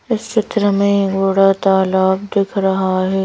इस चित्र में एक बड़ा तालाब दिख रहा है।